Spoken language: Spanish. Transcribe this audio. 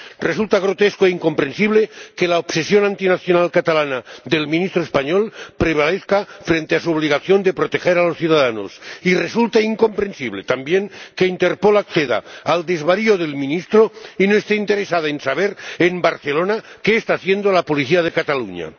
Resulta grotesco e incomprensible que la obsesión antinacional catalana del ministro español prevalezca frente a su obligación de proteger a los ciudadanos, y resulta incomprensible también que Interpol acceda al desvarío del ministro y no esté interesada en saber en Barcelona qué está haciendo la policía de Cataluña.